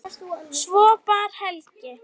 Svo bar Helgi